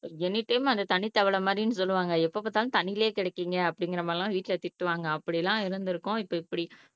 any time அந்த தண்ணி தவளை மாதிரி சொல்லுவாங்க எப்ப பாத்தாலும் தண்ணிக்குள்ளேயே கிடைக்கீங்க அப்படிங்கற மாதிரிலாம் வீட்ல திட்டுவாங்க அப்படி எல்லாம் இருந்திருக்கோம் இப்போ இப்படி